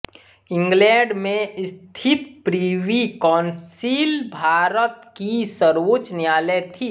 England में स्थित Privy Council Bharat की सर्वोच्च न्यायालय थी